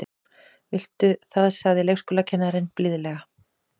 Viltu það sagði leikskólakennarinn blíðlega.